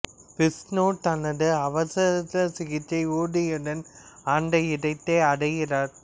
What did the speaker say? விஷ்ணு தனது அவசர சிகிச்சை ஊர்தியுடன் அந்த இடத்தை அடைகிறார்